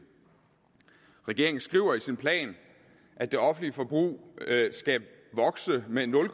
regeringen skriver i sin plan at det offentlige forbrug skal vokse med nul